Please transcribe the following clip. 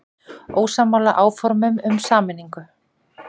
Ósammála áformum um sameiningu